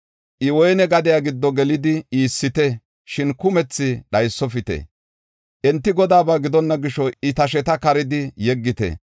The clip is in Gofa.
“I woyne gadiya giddo gelidi iissite, shin kumethi dhaysofite. Enti Godaaba gidonna gisho I tasheta karidi yeggite.